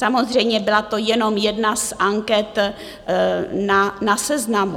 Samozřejmě byla to jenom jedna z anket na Seznamu.